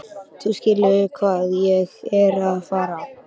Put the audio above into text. Þú skilur hvað ég er að fara.